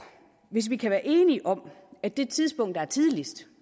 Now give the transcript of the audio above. hvis vi kan være enige om at det tidspunkt der er tidligst